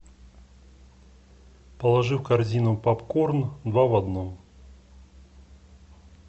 положи в корзину попкорн два в одном